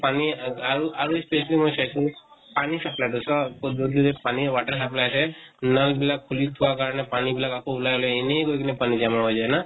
পানী আ আৰু আৰু পানী supply টো পানীৰ water supply আছে। নল নিলাক খুলি থোৱাৰ কাৰণে পানী বিলাক আকৌ ওলাই ওলাই এনে গৈ কিনে পানী জমা হৈ যায় ন?